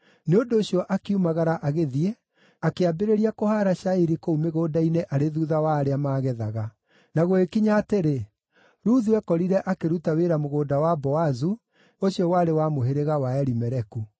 Nĩ ũndũ ũcio akiumagara agĩthiĩ, akĩambĩrĩria kũhaara cairi kũu mĩgũnda-inĩ arĩ thuutha wa arĩa maagethaga. Na gũgĩkinya atĩrĩ, Ruthu ekorire akĩruta wĩra mũgũnda wa Boazu, ũcio warĩ wa mũhĩrĩga wa Elimeleku.